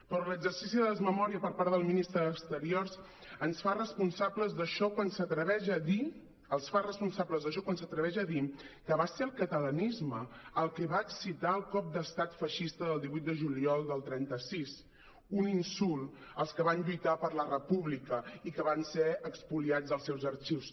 però l’exercici de desmemòria per part del ministre d’exteriors ens fa responsables d’això quan s’atreveix a dir que va ser el catalanisme el que va excitar el cop d’estat feixista del divuit de juliol del trenta sis un insult als que van lluitar per la república i que van ser espoliats dels seus arxius